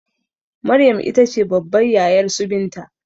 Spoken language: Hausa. Maryam itace babbar yayarsu binta